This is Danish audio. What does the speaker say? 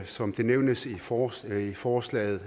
som det nævnes i forslaget forslaget